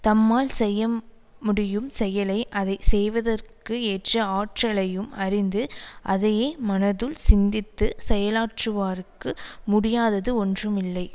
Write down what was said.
தம்மால் செய்யமுடியும் செயலை அதை செய்வதற்கு ஏற்ற ஆற்றலையும் அறிந்து அதையே மனத்துள் சிந்தித்து செயலாற்றுவாருக்கு முடியாதது ஒன்றும் இல்லை